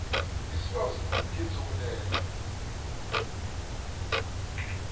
isibawo sesitifikhethi sokulethwa